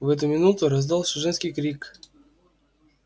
в эту минуту раздался женский крик